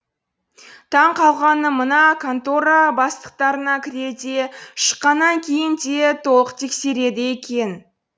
таң қалғаным мына контора бастықтарына кірерде шыққанан кейін де толық тексереді екен